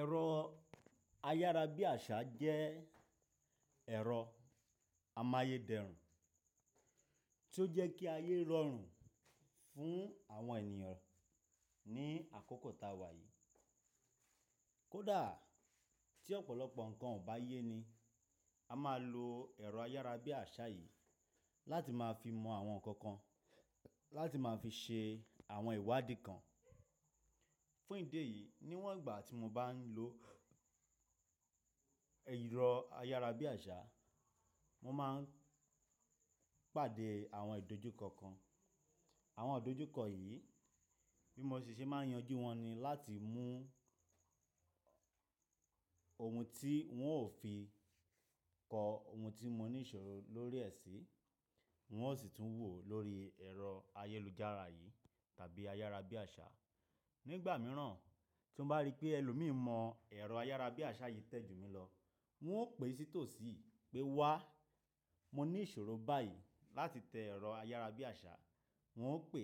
Ẹ̀rọ ayárabíàṣá jẹ́ ẹ̀rọ amáyedẹrùn tí ó jẹ́ kí ayé rọrùn fún àwọn ènìyàn ní àkókò ta wà yìí. Kódà tí ọ̀pọ̀lọpọ̀ nǹkan ò bá yé ni, a máa lo ẹ̀rọ ayárabíàṣá yìí láti máa fi mọ àwọn nǹkan kan, láti máa fi ṣe àwọn ìwádìí kan. Fún ìdí èyí, níwọ̀n ìgbà tí mo bá ń lo ẹ̀rọ ayárabíàṣá, mo máa ń pàdé àwọn ìdojúkọ kan. Àwọn ìdojúkọ yìí, bí mo ṣe máa yanjú wọn ni láti mú ohun tí wọn ò fi kọ ohun tí mo ní ìṣòro lórí ẹ̀ sí, wọn ó sì tún wò lórí ẹ̀rọ ayélujára yìí tàbí ayárabíàṣá. Ní ìgbà mìíràn tí mo bá rí pé ẹlòmíì mọ ẹ̀rọ ayárabíàṣá yìí tẹ́jù mi lọ, wọn ó pè sí tòsí pé wá, mo ní ìṣòro báyìí láti tẹ ẹ̀rọ ayárabíàṣá, wọn ó pè,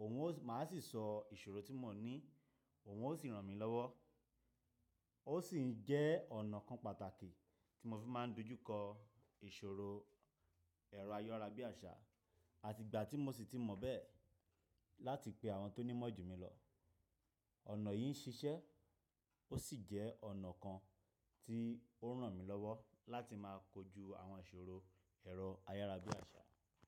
òun máa sì sọ ìṣòro tí mo ní, òun ó sì ràn mí lọ́wọ́. Ó sì jẹ́ ọ̀nà kan pàtàkì tí mo fi máa ń dojú kọ ìṣòro ẹ̀rọ ayárabíàṣá àti ìgbà tí mo sì ti mọ̀ bẹ́ẹ̀ láti pe àwọn tó ní mọ́ jù mí lọ. Ọ̀nà yìí ń ṣiṣẹ́ ó sì jẹ́ ọ̀nà kan tí ó ń ràn mí lọ́wọ́ láti máa kojú àwọn ìṣòro ẹ̀rọ ayárabíàṣá.